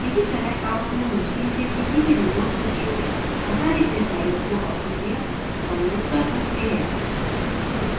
इसी तरह आप अपने machine से किसी भी remote machine में आसानी से फ़ाइलों को upload या download कर सकते हैं